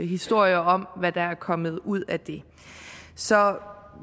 historier om hvad der er kommet ud af det så